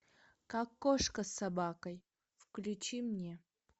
как кошка с собакой включи мне